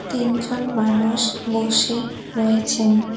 তিনজন মানুষ বসে রয়েছেন।